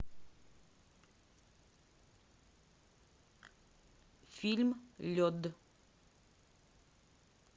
фильм лед